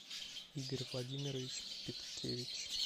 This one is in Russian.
игорь владимирович питкевич